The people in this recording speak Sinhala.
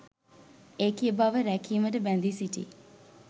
ඒකීය බව රැකීමට බැඳී සිටියි.